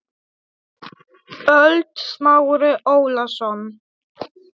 ÖLD Smári Ólason